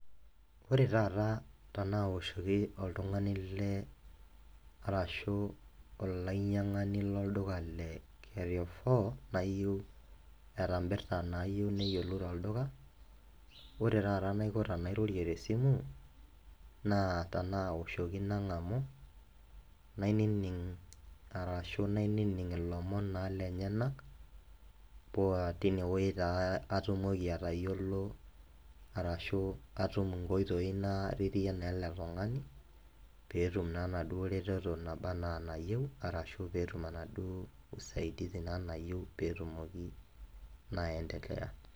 Ore taata tenaoshoki oltung'ani le CS[carrefour]CS arashu olainyang'ani lolduka le CS[carrefour]CS eeta impirta naayieu neyiolou tolduka ore taata enaiko tenairorie te simu naa tenaoshoki nang'amu nainining' arashu nainining' ilomon lenyenak paa tinewoji taa atumoki atayiolo arashu atum inkoitoi naa naretie eletung'ani peetum naa enaduoo reteto naba enaa enayieu peetum enaduoo naa CS[usaidizi]CS naba enaa enayieu peetumoki naa aiendelea.